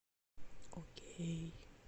окей